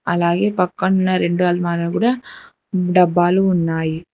అలాగే పక్కనున్న రెండు అల్మారాలు గూడ డబ్బాలు ఉన్నాయి.